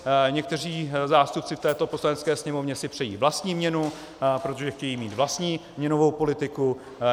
Někteří zástupci v této Poslanecké sněmovně si přejí vlastní měnu, protože chtějí mít vlastní měnovou politiku.